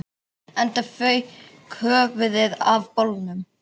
Enda fauk höfuðið af bolnum